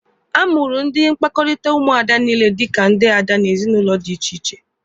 A mụrụ ndị mkpakọrịta Ụmụada niile dika ndị ada n'ezinụlọ dị iche iche.